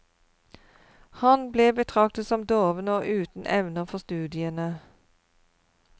Han ble betraktet som doven og uten evner for studiene.